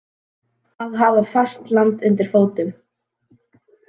Að hafa fast land undir fótum